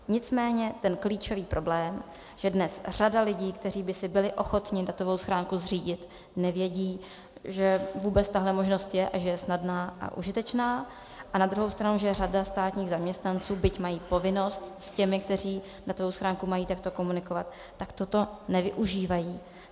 Nicméně ten klíčový problém, že dnes řada lidí, kteří by si byli ochotni datovou schránku zřídit, neví, že vůbec tahle možnost je a že je snadná a užitečná, a na druhou stranu že řada státních zaměstnanců, byť mají povinnost s těmi, kteří datovou schránku mají, takto komunikovat, tak toto nevyužívají.